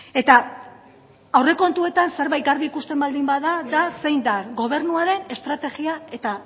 eta aurrekontuetan zerbait garbi ikusten baldin bada da zein den gobernuaren estrategia eta